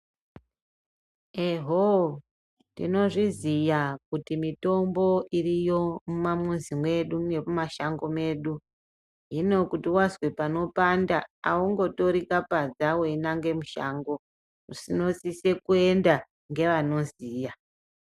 Eho, tinozviziya kuti mitombo iriyo mumamwuzi mwedu nemumashango mwedu. Hino kuti wazwe panopanda, haungotori kapadza weinange mushango. Unosisa kuenda ngeanoziya.